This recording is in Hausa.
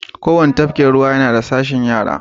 Kowane tafkin ruwa yana da sashin yara.